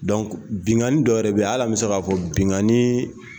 binnkanni dɔwɛrɛ bɛ yen hal'an bɛ se k'a fɔ binnkanni